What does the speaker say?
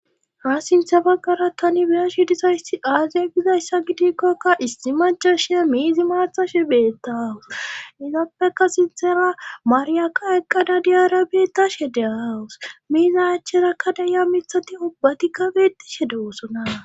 ha sintha baggara tani biyashi dizayssi aaziya gizayssa gidikkokka issi macashiya miizi maathashe beetta awus izappeka sintera maariyaka eqqada diyara beettashe de awus miizi acherakka dayiya mithati ubbatikka beetishe de wosonaa